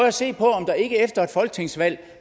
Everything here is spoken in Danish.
at se på om der ikke efter et folketingsvalg